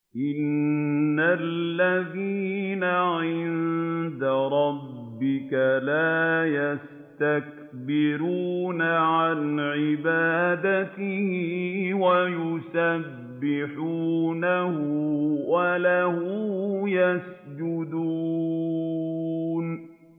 إِنَّ الَّذِينَ عِندَ رَبِّكَ لَا يَسْتَكْبِرُونَ عَنْ عِبَادَتِهِ وَيُسَبِّحُونَهُ وَلَهُ يَسْجُدُونَ ۩